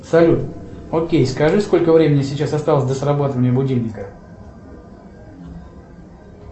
салют окей скажи сколько времени сейчас осталось до срабатывания будильника